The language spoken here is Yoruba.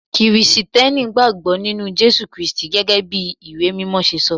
Kirìtẹ́nì gbàgbó nínú Jésù Kristi gẹ́gẹ́ bí ìwé mímọ ṣe sọ.